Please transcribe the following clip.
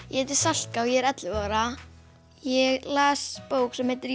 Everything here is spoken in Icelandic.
ég heiti Salka og ég er ellefu ára ég las bók sem heitir